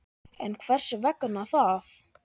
En hvers vegna það?